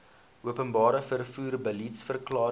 openbare vervoer beliedsverklaring